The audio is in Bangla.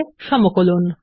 এর সমকলন